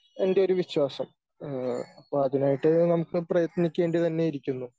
എൻ്റെ ഒരു വിശ്വാസം. ഏഹ് അപ്പോ അതിനായിട്ട് നമുക്ക് പ്രയത്നിക്കേണ്ടി തന്നെ ഇരിക്കുന്നു.